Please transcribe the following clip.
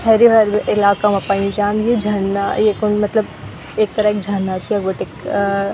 हैरू-हैरू इलाका मा पयु जान्द यु झरना येकम मतलब एक तरह क झरना च यखबटेक अ --